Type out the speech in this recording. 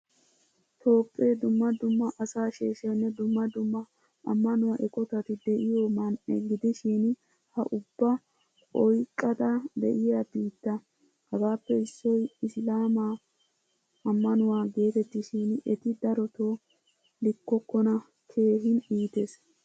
Toohphpee dumma dumma asa sheeshaynne dumma dumma amanuwaa eqqotati de'yo man'ee gidishin ha ubba oyqqada de'iyaa biittaa. Hagappe issoy isilama amanuwaa geetettishin etti daroto likkokona. Keehin iittees.